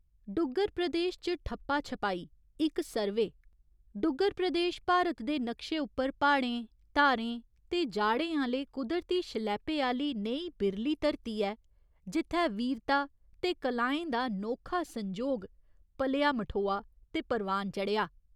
डुग्गर प्रदेश च ठप्पा छपाई इक सर्वे डुग्गर प्रदेश भारत दे नक्शे उप्पर प्हाड़ें, धारें ते जाड़ें आह्‌ले कुदरती शलैपे आह्‌ली नेही बिरली धरती ऐ, जित्थै वीरता ते कलाएं दा नोखा संजोग पलेआ मठोआ ते परवान चढ़ेआ।